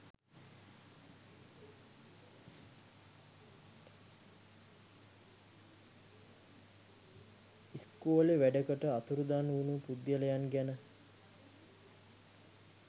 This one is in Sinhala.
ස්කොලේ වැඩකට අතුරුදහන් වුනු පුද්ගලයන් ගැන